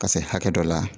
Ka se hakɛ dɔ la